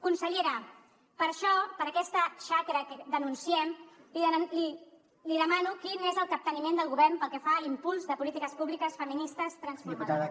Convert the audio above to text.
consellera per això per aquesta xacra que denunciem li demano quin és el capteniment del govern pel que fa a l’impuls de polítiques públiques feministes transformadores